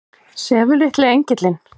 Sefur litli engillinn?